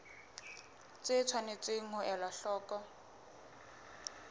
tse tshwanetseng ho elwa hloko